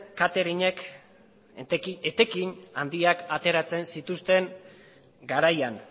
cateringek etekin handiak ateratzen zituzten garaian